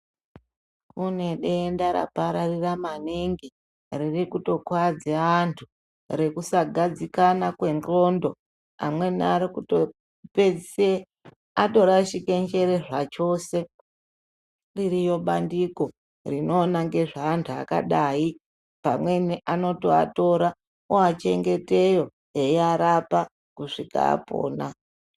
Kune denda rapararira manhingi riri kuto kuwadze antu rekusa gadzikana kwendxondo. Amweni ari kuto pedzise atorashike njere zvachose. Ririyo bandiko rinoona ngezva antu akadai. Pamweni ano toatora owa chengete yo eyiyarapa kusvika apona.